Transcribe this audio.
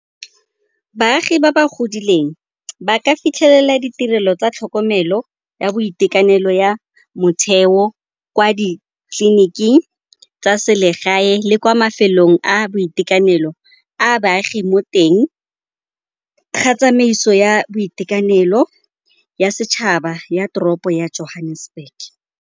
Baagi ba ba godileng ba ka fitlhelela ditirelo tsa tlhokomelo ya boitekanelo ya motheo kwa ditleliniking tsa selegae le kwa mafelong a boitekanelo a baagi mo teng ga tsamaiso ya boitekanelo ya setšhaba ya toropo ya Johannesburg.